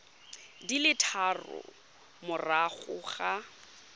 di le tharo morago ga